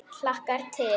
Hlakkar til.